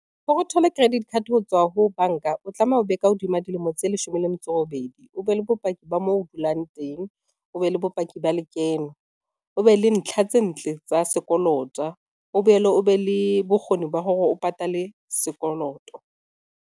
Hore o thole credit card ho tswa ho banka, o tlameha o be ka hodima dilemo tse leshome le metso e robedi, o be le bopaki ba moo o dulang teng, o be le bopaki ba lekeno, o be le ntlha tse ntle tsa sekoloto o boele o be le bokgoni ba hore o patale sekoloto.